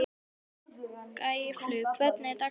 Gæflaug, hvernig er dagskráin?